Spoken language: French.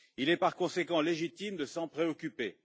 Il est par conséquent légitime de s'en préoccuper.